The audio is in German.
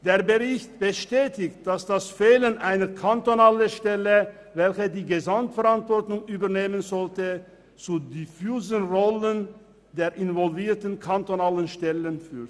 Der Bericht bestätigt, dass das Fehlen einer kantonalen Stelle, welche die Gesamtverantwortung übernehmen sollte, zu einer unklaren Rollenverteilung zwischen den involvierten kantonalen Stellen führt.